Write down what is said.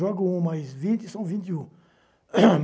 Joga um mais vinte, são vinte e um.